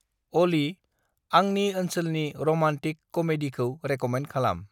अलि, आंनि ओनसोलनि रमान्टिक कमेडिखौ रेक'मेन्द खालाम।